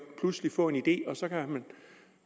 pludselig få en idé og så kan